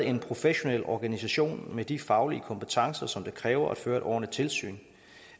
en professionel organisation med de faglige kompetencer som det kræver at føre et ordentligt tilsyn